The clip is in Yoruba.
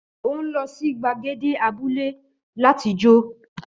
Ó ń lọ sí gbàgède abúlé láti jó.